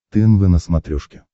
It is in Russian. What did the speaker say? тнв на смотрешке